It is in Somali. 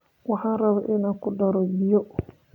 Waxaan rabaa inaan ku daro biyo